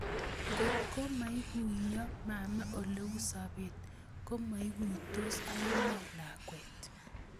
Ngotko maikuiyo mama Ole u sobet, komoikuitos akine lakwet